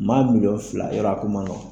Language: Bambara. Maa mun yɔrɔ fila yɔrɔ a ko ma nɔgɔn